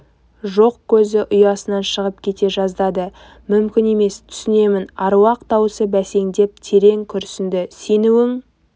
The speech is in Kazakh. жоқ көзі ұясынан шығып кете жаздады мүмкін емес түсінемін аруақ даусы бәсеңдеп терең күрсінді сенуің